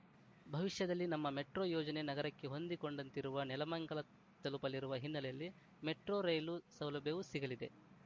ಭವಿಷ್ಯದಲ್ಲಿ ನಮ್ಮ ಮೆಟ್ರೋ ಯೋಜನೆ ನಗರಕ್ಕೆ ಹೊಂದಿಕೊಂಡಂತಿರುವ ನೆಲಮಂಗಲ ತಲುಪಲಿರುವ ಹಿನ್ನೆಲೆಯಲ್ಲಿ ಮೆಟ್ರೋ ರೈಲು ಸೌಲಭ್ಯವೂ ಸಿಗಲಿದೆ